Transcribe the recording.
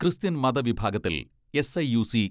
Christian മത വിഭാഗത്തിൽ SIUC.